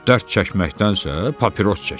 Dörd çəkməkdənsə, papiros çək.